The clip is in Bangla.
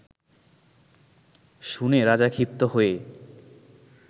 শুনে রাজা ক্ষিপ্ত হয়ে